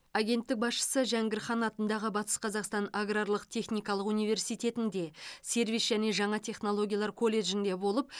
агенттік басшысы жәңгір хан атындағы батыс қазақстан аграрлық техникалық университетінде сервис және жаңа технологиялар колледжінде болып